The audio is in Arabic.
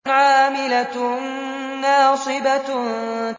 عَامِلَةٌ نَّاصِبَةٌ